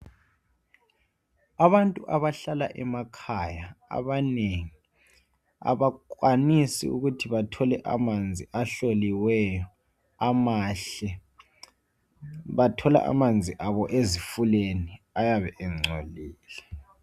Abantu abahlala emakhaya abanengi abakwanisa ukuthi bathole amanzi ahloliweyo amahle. Bathola amanzi abo ezifuleni ayabe engcolile.